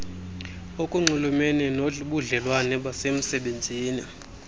okunxulumene nobudlelwane basemsebenzini